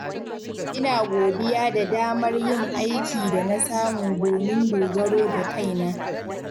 Ina godiya da damar yin aiki da na samu domin dogaro da kaina.